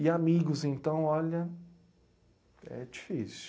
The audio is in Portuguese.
E amigos, então, olha, é difícil.